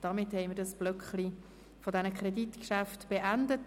Damit haben wir den Block mit den Kreditgeschäften beendet.